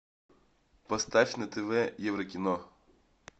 поставь на тв еврокино